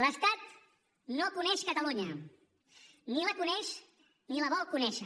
l’estat no coneix catalunya ni la coneix ni la vol conèixer